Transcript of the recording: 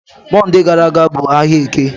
Mọnde gara aga ọ bụ ahịa Eke?